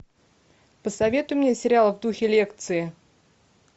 посоветуй мне сериал в духе лекции